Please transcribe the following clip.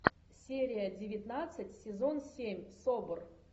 серия девятнадцать сезон семь собр